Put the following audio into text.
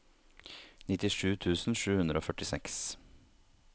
nittisju tusen sju hundre og førtiseks